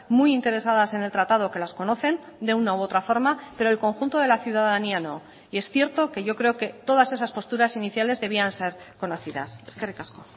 muy interesadas en el tratado que las conocen de una u otra forma pero el conjunto de la ciudadanía no y es cierto que yo creo que todas esas posturas iniciales debían ser conocidas eskerrik asko